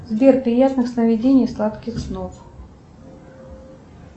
сбер приятных сновидений и сладких снов